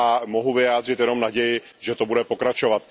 Mohu vyjádřit jenom naději, že to bude pokračovat.